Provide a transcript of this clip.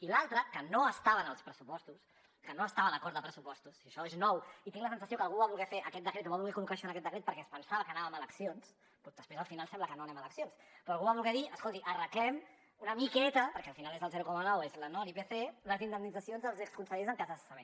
i l’altra que no estava en els pressupostos que no estava en l’acord de pressupostos això és nou i tinc la sensació que algú va voler fer aquest decret o va voler col·locar això en aquest decret perquè es pensava que anàvem a eleccions després al final sembla que no anem a eleccions però algú va voler dir escolti arreglem una miqueta perquè al final és el zero coma nou l’ipc les indemnitzacions als exconsellers en cas de cessament